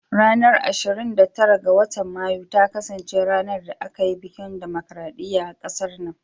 Ranar ashirin da tara ga watan Mayu ta kasance ranar da aka yin bikin dimokradiyya a kasar nan.